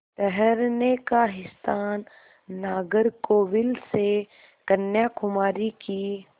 ठहरने का स्थान नागरकोविल से कन्याकुमारी की